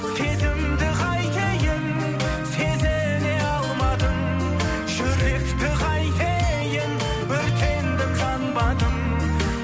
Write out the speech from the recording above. сезімді қайтейін сезіне алмадың жүректі қайтейін өртендім жанбадым